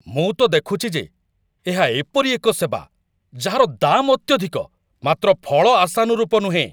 ମୁଁ ତ ଦେଖୁଛି ଯେ ଏହା ଏପରି ଏକ ସେବା ଯାହାର ଦାମ୍ ଅତ୍ୟଧିକ ମାତ୍ର ଫଳ ଆଶାନୁରୂପ ନୁହେଁ।